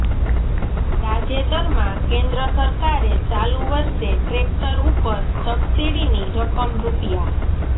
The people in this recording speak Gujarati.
તાજેતરમાં કેન્દ્ર સરકારે ચાલુ વર્ષે ટ્રેક્ટર ઉપર સબસિડીની રકમ રૂપિયા